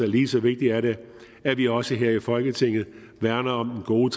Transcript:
lige så vigtigt er det at vi også her i folketinget værner om den gode